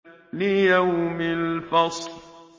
لِيَوْمِ الْفَصْلِ